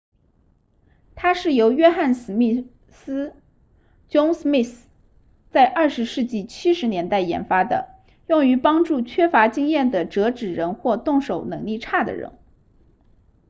它是由约翰•史密斯 john smith 在20世纪70年代研发的用于帮助缺乏经验的折纸人或动手能力差的人